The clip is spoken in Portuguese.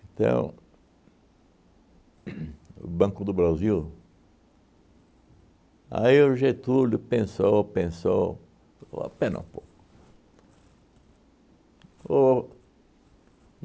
Então, uhn o Banco do Brasil, aí o Getúlio pensou, pensou, falou espera um pouco. O